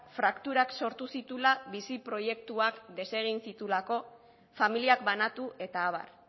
frakturak sortu zituela bizi proiektuak desegin zituelako familiak banatu eta abar